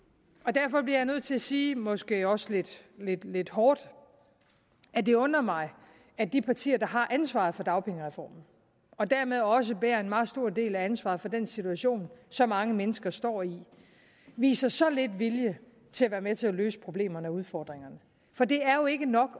derfor bliver jeg nødt til at sige måske også lidt lidt hårdt at det undrer mig at de partier der har ansvaret for dagpengereformen og dermed også bærer en meget stor del af ansvaret for den situation som mange mennesker står i viser så lidt vilje til at være med til at løse problemerne og udfordringerne for det er jo ikke nok